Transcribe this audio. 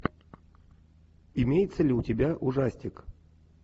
имеется ли у тебя ужастик